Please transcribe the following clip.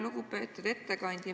Lugupeetud ettekandja!